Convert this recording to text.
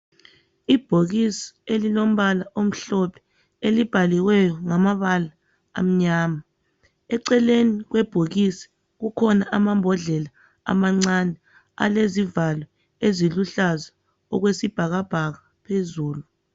Ibhokisi elilombala omhlophe elibhaliweyo ngamabala amnyama eceleni kwebhokisi kukhona amambodlela amancane alezivalo eziluhlaza okwesibhakabhaka phezulu